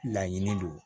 Laɲini do